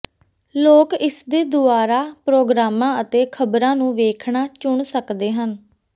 ਲੋਕ ਇਸਦੇ ਦੁਆਰਾ ਪ੍ਰੋਗਰਾਮਾਂ ਅਤੇ ਖ਼ਬਰਾਂ ਨੂੰ ਵੇਖਣਾ ਚੁਣ ਸਕਦੇ ਹਨ